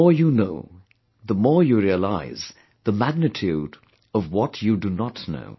The more you know, the more you realize the magnitude of what you do not know